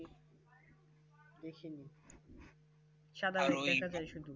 দেখিনি